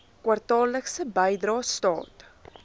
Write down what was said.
kwartaallikse bydrae staat